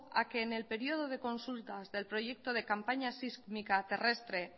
a que en el periodo de consultas del proyecto de campaña sísmica terrestre